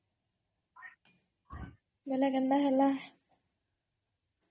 ବେଲେ କେନ୍ତା ହେଲା?